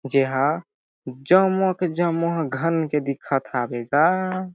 जेहा जम्मो के जम्मो घन के दिखत हावे गा--